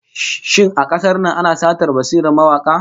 Shin a kasar nan ko ana satar basirar mawaka?